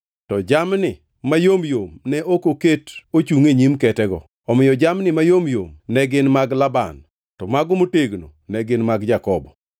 to jamni mayom yom ne ok oket ochungʼ e nyim ketego. Omiyo jamni mayom yom ne gin mag Laban to mago motegno ne gin mag Jakobo.